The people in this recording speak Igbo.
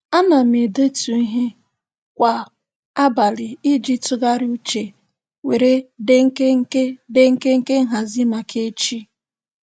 A na m edetu ihe kwa abalị iji tụgharị uche were dee nkenke dee nkenke nhazị maka echi.